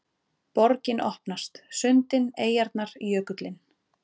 Borgin opnast: sundin, eyjarnar, jökullinn